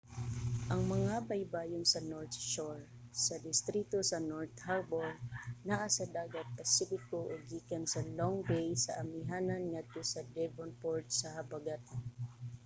ang mga baybayon sa north shore sa distrito sa north harbour naa sa dagat pasipiko ug gikan sa long bay sa amihanan ngadto sa devonport sa habagatan